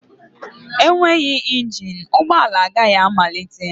Enweghị engine ụgbọ ala agaghị amalite